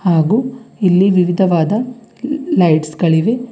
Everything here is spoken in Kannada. ಹಾಗು ಇಲ್ಲಿ ವಿವಿಧವಾದ ಲೈಟ್ಸ್ ಗಳಿವೆ.